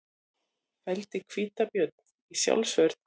Felldi hvítabjörn í sjálfsvörn